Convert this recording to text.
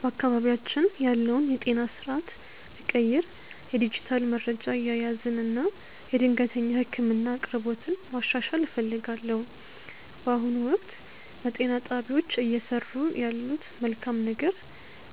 በአካባቢያችን ያለውን የጤና ስርዓት ብቀይር የዲጂታል መረጃ አያያዝን እና የድንገተኛ ህክምና አቅርቦትን ማሻሻል እፈልጋለሁ። በአሁኑ ወቅት፣ በጤና ጣቢያዎች እየሰሩ ያለት መልካም ነገር